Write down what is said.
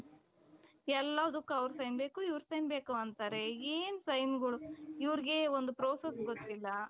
ಎಲ್ಲಾದಕ್ ಅವರ್ sign ಬೇಕು ಇವರ್ sign ಬೇಕು ಅಂತಾರೆ ಎನ್ sign ಗಳು ಇವರಿಗೆ ಒಂದ್ process ಗೊತ್ತಿಲ್ಲ .